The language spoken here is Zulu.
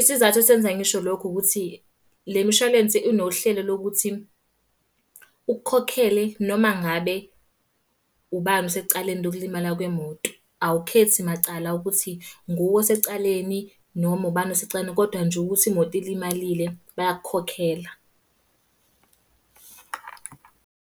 Isizathu esenza ngisho lokhu ukuthi, le mishwalense inohlelo lokuthi, ukukhokhele noma ngabe ubani osecaleni lokulimala kwemoto. Awukhethi macala ukuthi, nguwe osecaleni noma ubani osecaleni, kodwa nje ukuthi imoto ilimalile bayakukhokhela.